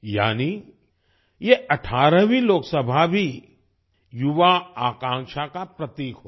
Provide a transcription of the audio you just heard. यानि ये 18वीं लोकसभा भी युवा आकांक्षा का प्रतीक होगी